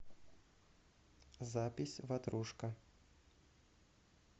запись ватрушка